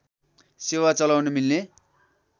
सेवा चलाउन मिल्ने